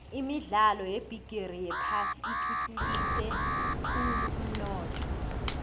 imidlalo yebigixi yephasi ithuthukise khulvumnotho